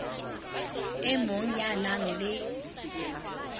e mong ya nang le